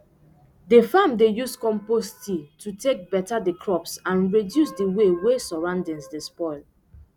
d farm dey use compost tea to take beta the crops and reduce d way wey surroundings dey spoil